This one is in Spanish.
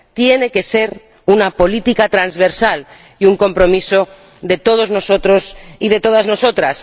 Tiene que ser una política transversal y un compromiso de todos nosotros y de todas nosotras.